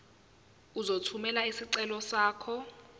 uzothumela isicelo sakho